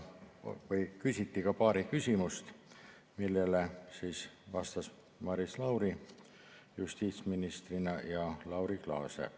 Küsiti ka paar küsimust, millele vastasid Maris Lauri justiitsministrina ja Laura Glaase.